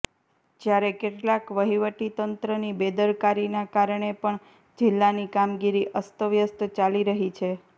જયારે કેટલાક વહીવટી તંત્રની બેદરકારીના કારણે પણ જિલ્લાની કામગીરી અસ્ત વ્યસ્ત ચાલી રહી છે